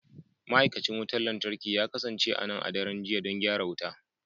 Ma'aikacin wutar lantarki ya kasance a nan a daren jiya don gyara wuta.